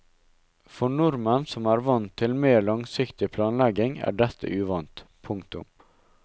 For nordmenn som er vant til mer langsiktig planlegging er dette uvant. punktum